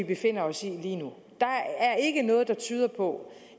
befinder os i der er ikke noget der tyder på